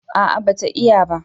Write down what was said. A'a ba ta iya ba